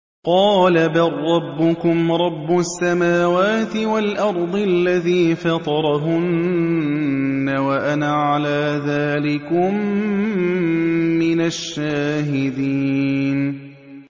قَالَ بَل رَّبُّكُمْ رَبُّ السَّمَاوَاتِ وَالْأَرْضِ الَّذِي فَطَرَهُنَّ وَأَنَا عَلَىٰ ذَٰلِكُم مِّنَ الشَّاهِدِينَ